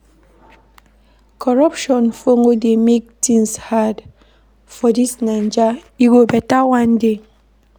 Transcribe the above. Corruption folo dey make tins hard for dis Naija, e go beta one day.